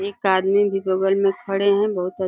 एक आदमी भी बगल में खड़े है। बहोत --